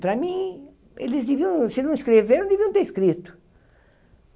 Para mim, eles deviam, se não escreveram, deviam ter escrito.